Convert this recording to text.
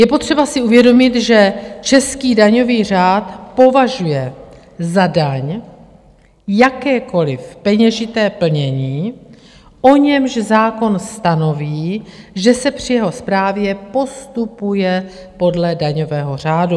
Je potřeba si uvědomit, že český daňový řád považuje za daň jakékoliv peněžité plnění, o němž zákon stanoví, že se při jeho správě postupuje podle daňového řádu.